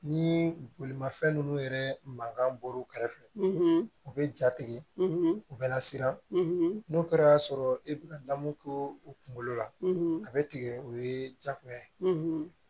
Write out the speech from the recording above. Ni bolimafɛn nunnu yɛrɛ mankan bɔr'u kɛrɛfɛ u bɛ ja tigɛ u bɛ lasiran n'o kɛra e bɛ ka lamu k'o kunkolo la a bɛ tigɛ o ye jagoya ye